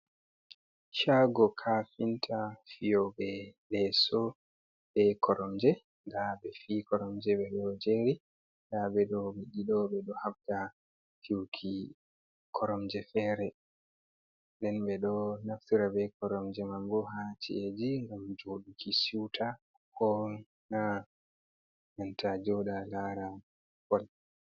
Shaago kafinta fiyoɓe leeso, be koromje, nda ɓe fii koromje ɓe ɗo jeeri, nda ɓe ɗo ɓe ɗiɗo ɓe ɗo habda fi'uki koromje fere, nden ɓe ɗo naftira be koromje mambo haa ci’eji ngam jooɗuki si'uta ko na nanta jooɗa laara bol.